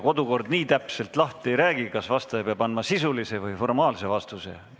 Kodukord nii täpselt lahti ei räägi, kas vastaja peab andma sisulise või formaalse vastuse.